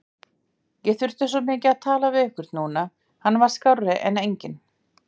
Ég þurfti svo mikið að tala við einhvern núna, hann var skárri en enginn.